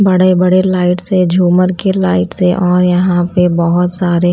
बड़े बड़े लाईट्स हैं झूमर की लाईट्स है और यहां पे बहोत सारे--